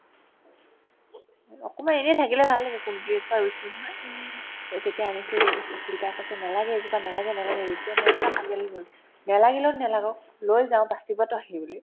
অকমান এনেই থাকিলে ভাল লাগে ৰুইছিলো নহয় অ তেতিয়া আনিছো অ অ শিল্পাই কৈছে নেলাগে এইজোপা নেলাগে নেলাগে ৰিতুয়ে ময়ে পূৰা কাজিয়া লাগি গ'লো নেলাগিলেও নেলাগক লৈ যাও বাচিবতো সেইবুলি